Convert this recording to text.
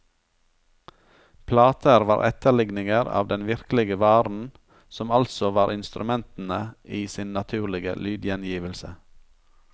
Plater var etterligninger av den virkelige varen som altså var instrumentene i sin naturlige lydgjengivelse.